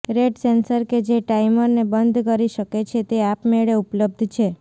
red sensor કે જે ટાઇમરને બંધ કરી શકે છે તે આપમેળે ઉપલબ્ધ છે